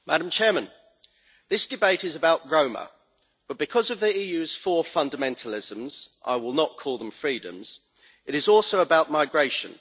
Madam President, this debate is about Roma, but because of the EU's four fundamentalisms I will not call them freedoms it is also about migration.